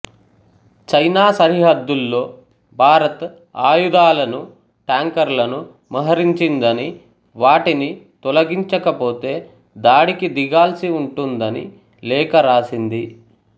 China సరిహద్దుల్లో భారత్ ఆయుధాలను ట్యాంకర్లను మోహరించిందని వాటిని తొలగించకపోతే దాడికి దిగాల్సి ఉంటుందని లేఖరాసింది